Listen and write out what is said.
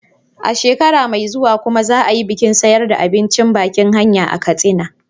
A shekara mai zuwa kuma za a yi bikin siyarda abincin bakin hanya a Katsina.